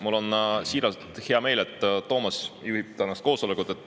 Mul on siiralt hea meel, et Toomas juhib tänast koosolekut.